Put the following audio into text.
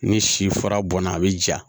Ni si fara bɔnna a bi ja